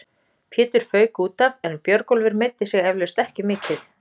Pétur fauk útaf en Björgólfur meiddi sig eflaust ekki mikið.